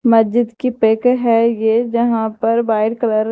मस्जिद की पेक है ये जहां पर वाइट कलर --